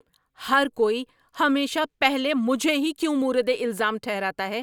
ہر کوئی ہمیشہ پہلے مجھے ہی کیوں مورد الزام ٹھہراتا ہے؟